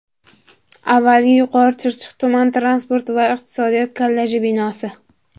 Avvalgi Yuqorichirchiq tuman transport va iqtisodiyot kolleji binosi.